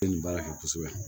nin baara kɛ kosɛbɛ